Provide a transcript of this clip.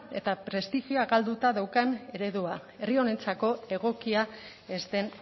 eta prestigioa galduta daukan eredua herri honentzako egokia ez den